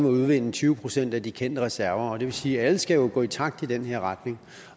må udvinde tyve procent af de kendte reserver det vil sige at alle jo skal gå i takt i den her retning